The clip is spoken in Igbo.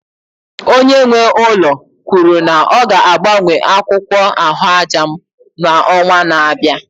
Onye nwe ụlọ kwuru na ọ ga-agbanwe akwụkwọ ahụaja m n'ọnwa na-abịa